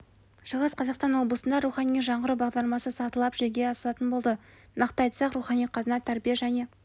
шығыс қазақстан облысында рухани жаңғыру бағдарламасы сатылап жүзеге асатын болады нақты айтсақ рухани қазына тәрбие және